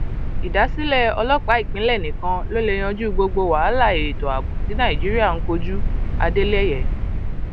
ìdásílẹ ọlọpàá ìpínlẹ nìkan ló lè yanjú gbogbo wàhálà ètò ààbò tí nàíjíríà ń kojúadéléye